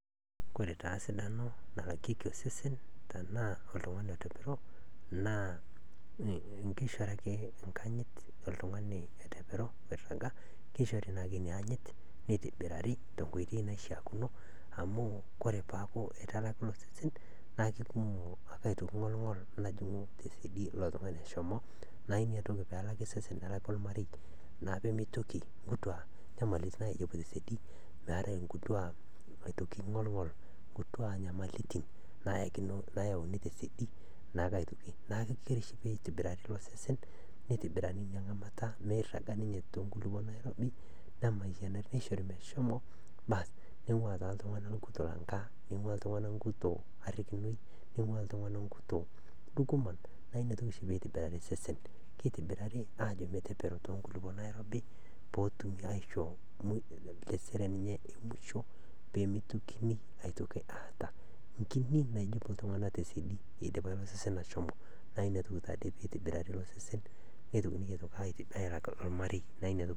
Kesidai oleng enchorota nachor ngotenye nkerai amu kore naa nkerai keyeu, kore sesen le nkerai kenana naa kekumok nyamaliritin naatum. Kore taa iltikana otiuaa ilmaasae otiuwaa ilo tokitin oojing looshori ,oojing nkejek nejing nkaik, nejing' sunta, naaku kore ngotonye nenare pootum atoshora nkerai enye ,atoshora nkaik, atoshora nkejek, neshor nkoriong ,neshor ndapi oonkejek, weji pooki, neel akinyi, kore peel newen achor, achor, achor sesen pooki, naa kesupat naa nkerai osesen, meitoki atum nenai moyaritin, meitoki atum lelo kutiti iltikana, meitoki atum lelo kutiti ooshori, naa inakata naa esupatu nkerai osesen, naaku kesupat oleng teneshor ngotenye nkerai awen ale ashorchor ewen era kinyi, naaku kore abaki echor ngotenye naa kejingaro ninye o kerai enye . Kore ina nachor nkera enye naa kesham nkerai amu kore sesen le nkerai keyeu ninye neitaasi neitomoki nchorota ake iyie amu keewen naa enana, naa inyakata egolu loik nesupatu.